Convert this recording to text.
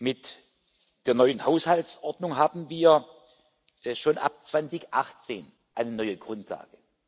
Mit der neuen Haushaltsordnung haben wir schon ab 2018 eine neue Grundlage.